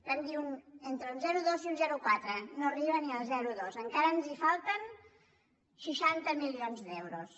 vam dir entre un zero coma dos i un zero coma quatre no arriba ni al zero coma dos encara ens hi falten seixanta milions d’euros